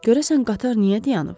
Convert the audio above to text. Görəsən qatar niyə dayanıb?